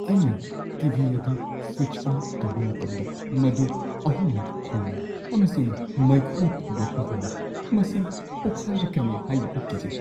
ꯑꯩꯅ T. V. ꯑꯗꯨ switch on ꯇꯧꯕ ꯃꯇꯝꯗ, ꯃꯗꯨ ꯑꯍꯨꯝꯂꯛ ꯈꯣꯡꯉꯤ ꯑꯃꯁꯨꯡ ꯃꯩꯈꯨ ꯊꯣꯛꯂꯛꯄ ꯍꯧꯏ꯫ ꯃꯁꯤ ꯄꯣꯈꯥꯏꯔꯛꯀꯅꯤ ꯍꯥꯏꯅ ꯑꯩ ꯀꯤꯖꯩ꯫